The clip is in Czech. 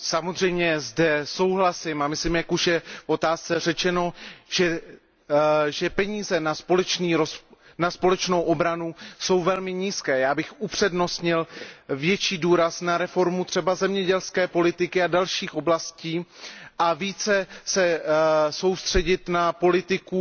Samozřejmě zde souhlasím a myslím, jak už je v otázce řečeno, že peníze na společnou obranu jsou velmi nízké. Já bych upřednostnil větší důraz na reformu třeba zemědělské politiky a dalších oblastí a více se soustředit na politiku